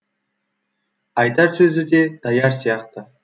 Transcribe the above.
айтар сөзі де даяр сияқты